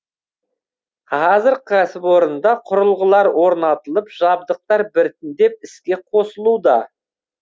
қазір кәсіпорында құрылғылар орнатылып жабдықтар біртіндеп іске қосылуда